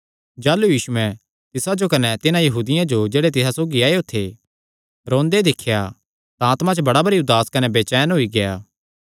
जाह़लू यीशुयैं तिसा जो कने तिन्हां यहूदियां जो जेह्ड़े तिसा सौगी आएयो थे रोंदे दिख्या तां आत्मा च बड़ा भरी उदास कने बचैन होएया